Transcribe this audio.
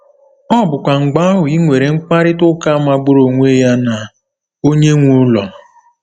Ọ bụkwa mgbe ahụ i nwere mkparịta ụka magburu onwe ya na onye nwe ụlọ.